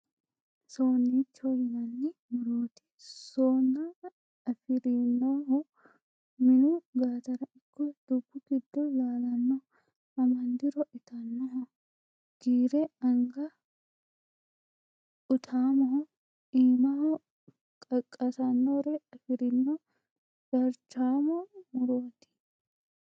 Sunicho yinanni murote sona afirinoho minu gattara ikko dubbu giddo laalano amadiro itanoho giire anga utamoho iimaho qaqqasanore afirino darchamo muroti .